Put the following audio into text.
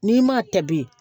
N'i m'a ta bi